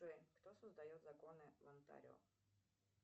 джой кто создает законы в онтарио